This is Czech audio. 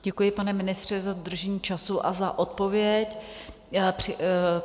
Děkuji, pane ministře, za dodržení času a za odpověď.